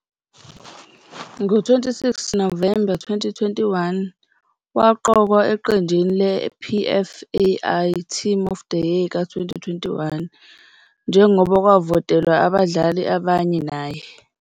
Ngo-26 November 2021, waqokwa eqenjini le-PFAI Team of the Year ka-2021, njengoba kwavotelwa abadlali abanye naye.